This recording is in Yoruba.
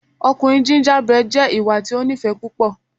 Ọkunrin gingerbread jẹ iwa ti o nifẹ pupọ